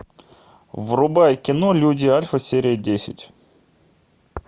врубай кино люди альфа серия десять